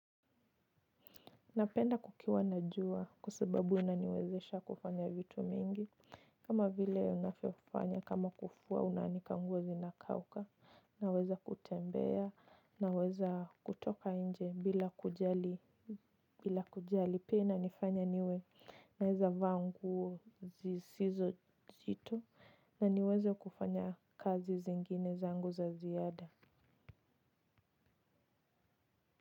Napenda kukiwa na jua kwa sababu inaniwezesha kufanya vitu mingi kama vile unavyo fanya kama kufua una anika nguo zina kauka naweza kutembea na weza kutoka inje bila kujali bila kujali pia inanifanya niwe na weza vaa nguo zisizo nzito na niweze kufanya kazi zingine zangu za ziada.